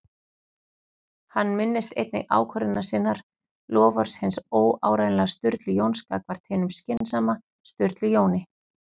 Hann minnist einnig ákvörðunar sinnar- loforðs hins óáreiðanlega Sturlu Jóns gagnvart hinum skynsama Sturlu Jóni